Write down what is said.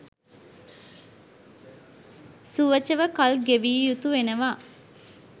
සුවචව කල් ගෙවිය යුතු වෙනවා.